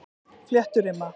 Flétturima